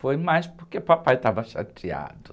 Foi mais porque o papai estava chateado.